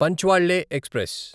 పంచ్వాళ్ళే express